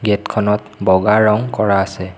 Gate খনত বগা ৰং কৰা আছে।